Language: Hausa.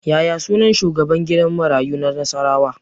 Yaya sunan shugaban gidan marayu na Nasarawa